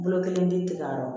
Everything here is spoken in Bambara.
Bolo kelen denw nɔ